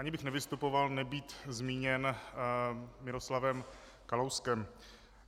Ani bych nevystupoval, nebýt zmíněn Miroslavem Kalouskem.